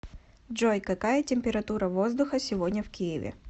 джой какая температура воздуха сегодня в киеве